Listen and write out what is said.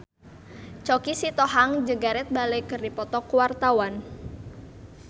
Choky Sitohang jeung Gareth Bale keur dipoto ku wartawan